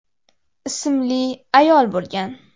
ismli ayol bo‘lgan.